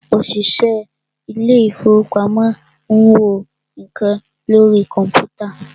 òṣìṣẹ́ ilé ìfọwọ́pamo ń wo nǹkan lórí kọ̀mpútà.